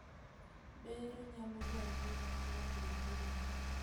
Bero nyalo dwarore ka tuo odhi ahinya